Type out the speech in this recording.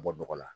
Bɔ dɔgɔ la